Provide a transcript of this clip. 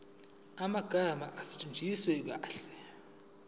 amagama asetshenziswe kahle